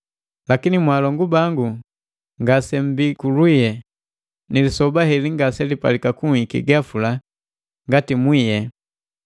Lakini mwaalongu bangu ngasemmbi kulwie, ni lisoba heli ngaselipalika kunhiki gapula ngati mwie.